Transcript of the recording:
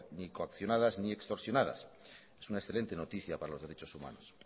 ni coaccionadas ni extorsionadas es una excelente noticia para los derechos humanos